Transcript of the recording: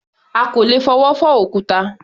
À kò lè fọwọ́ fọ́ òkúta.